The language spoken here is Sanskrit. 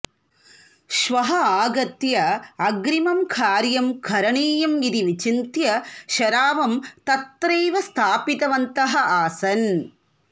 श्वः आगत्य अग्रिमं कार्यं करणीयम् इति विचिन्त्य शरावं तत्रैव स्थापितवन्तः आसन्